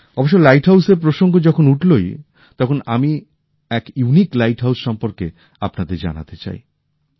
অবশ্য লাইট হাউসের প্রসঙ্গ যখন উঠলোই তখন আমি এক অনন্য লাইট হাউসের সম্পর্কে আপনাদের জানাতে চাই